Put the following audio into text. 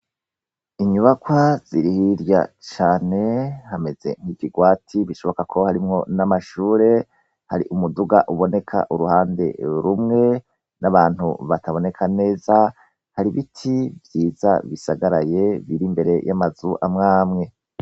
Inyubakwa zirihirya cane hameze nikirwati bishoboka ko harimwo n'amashure hari umuduga uboneka uruhande rumwe n'abantu bataboneka neza hari ibiti vyiza bisagaraye bire imbere y'amazu amwamwe.